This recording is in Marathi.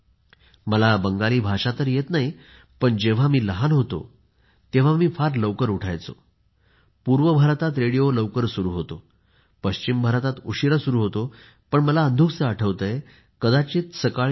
मला बंगाली भाषा तर येत नाही पण जेव्हा मी लहान होतो तेव्हा मी फारच लवकर उठायचो बालपणापासून आणि पूर्व भारतात रेडिओ लवकर सुरु होतो पश्चिम भारतात उशीरा सुरू होतो मला अंधुकसे आठवत आहे कदाचित सकाळी 5